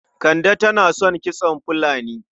Kande tana son kitson fulani.